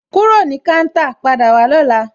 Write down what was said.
Kúrò ní káńtà, padà wá lóla!